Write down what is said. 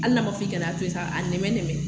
Hali n'a ma fɔ k'i ka n'a to yen sa, a nɛmɛ nɛmɛ.